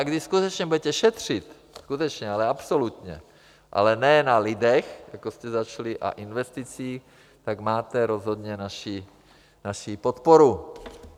A když skutečně budete šetřit, skutečně, ale absolutně, ale ne na lidech, jako jste začali, a investicích, tak máte rozhodně naši podporu.